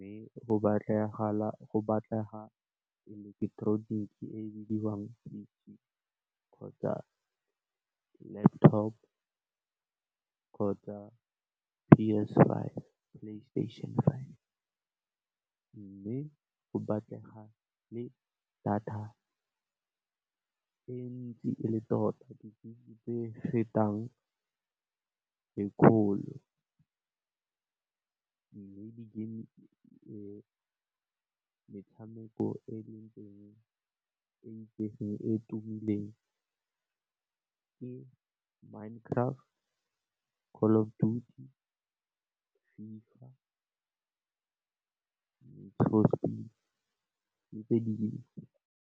Mme, go batlega eleketeroniki e bidiwang kgotsa laptop, kgotsa PS five, Playstation Five, mme, go batlega le data e ntsi e le tota di gigabyte tse fetang lekgolo mme e metshameko e leng teng e itsegeng, e tumileng ke Mind craft, Call of duty, FIFA le Trophy ke tse dintsi.